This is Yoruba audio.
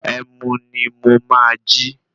Ẹmu ni mo máa jí.